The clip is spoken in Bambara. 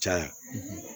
Caya